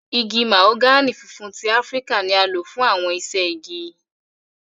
Igi mahogani funfun ti Afirika ni a lo fun awọn iṣẹ-igi.